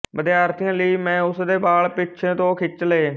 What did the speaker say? ਵਿਦਿਆਰਥੀਆਂ ਲਈ ਮੈਂ ਉਸਦੇ ਵਾਲ ਪਿੱਛੇ ਤੋਂ ਖਿੱਚ ਲਏ